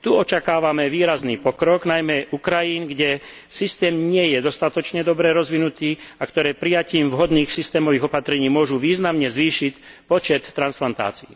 Tu očakávame výrazný pokrok, najmä u krajín, kde systém nie je dostatočne dobre rozvinutý a ktoré prijatím vhodných systémových opatrení môžu významne zvýšiť počet transplantácií.